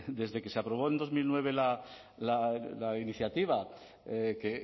desde que se aprobó en dos mil nueve la iniciativa que